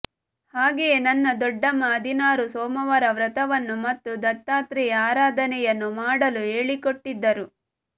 ಹಾಗೆಯೇ ನನ್ನ ದೊಡ್ಡಮ್ಮ ಹದಿನಾರು ಸೋಮವಾರ ವ್ರತವನ್ನೂ ಮತ್ತು ದತ್ತಾತ್ರೇಯ ಆರಾಧನೆಯನ್ನೂ ಮಾಡಲು ಹೇಳಿಕೊಟ್ಟಿದ್ದರು